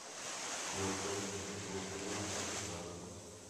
манхэттен восьмой сезон часть двадцать